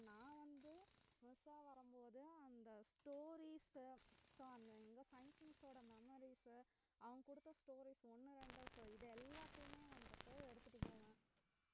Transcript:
நான் வந்து miss அ வரும் போது அந்த stories உ so அந்த எங்க science miss ஓட memories உ அவுங்க குடுத்த stories ஒண்ணு ரெண்டு so இது எல்லாத்தையுமே வந்துட்டு எடுத்துட்டு